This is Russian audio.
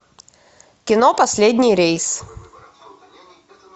кино последний рейс